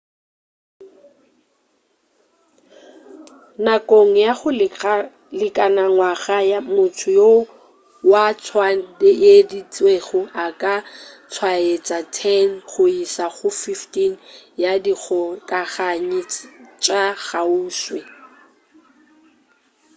nakong ya go lekana ngwaga motho yo wa tswaeditšwego a ka tswaetša 10 go iša go 15 ya dikgokaganyi tša kgauswi